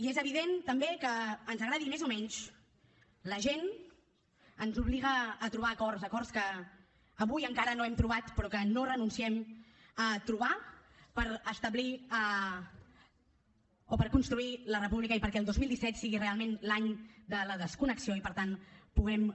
i és evident també que ens agradi més o menys la gent ens obliga a trobar acords acords que avui encara no hem trobat però que no renunciem a trobar per establir o per construir la república i perquè el dos mil disset sigui realment l’any de la desconnexió i per tant puguem